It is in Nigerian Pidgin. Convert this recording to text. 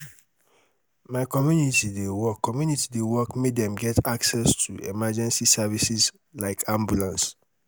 my community dey work community dey work make dem get access to emergency services like ambulance.